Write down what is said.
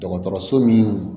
Dɔgɔtɔrɔso min